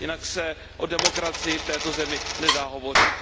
Jinak se o demokracii v této zemi nedá hovořit.